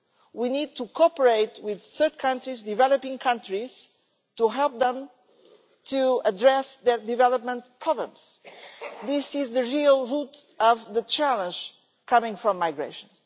We need to cooperate with third countries, developing countries, to help them to address their development problems. This is the real root of the challenge coming from migration.